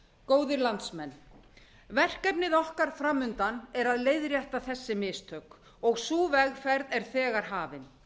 góðir landsmenn verkefnið okkar fram undan er að leiðrétta þessi mistök og sú vegferð er þegar hafin